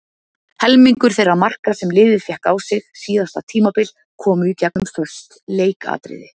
Helmingur þeirra marka sem liðið fékk á sig síðasta tímabil komu í gegnum föst leikatriði.